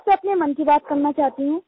मैं आपसे अपने मन की बात करना चाहती हूँ